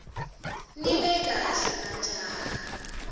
nibe kahle majaha